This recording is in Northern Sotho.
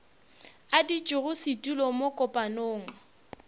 a ditšego setulo mo kopanong